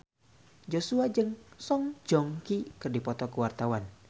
Joshua jeung Song Joong Ki keur dipoto ku wartawan